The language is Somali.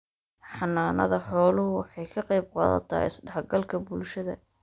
Xanaanada xooluhu waxay ka qayb qaadataa isdhexgalka bulshada.